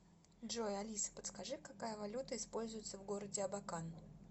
джой алиса подскажи какая валюта используется в городе абакан